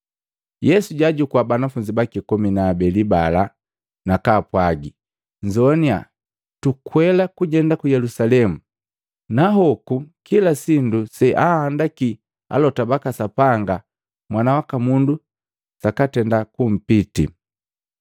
Yesu jaajuku banafunzi baki komi na abeli bala, nakaapwagi, “Nzoannya! Tukwela kujenda ku Yelusalemu na hoku kila sindu seanhandaki alota baka Sapanga Mwana waka Mundu sakatenda kupitii.